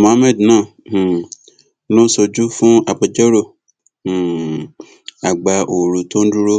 muhammed náà um ló ṣojú fún agbẹjọrò um àgbà ooru tó ń dúró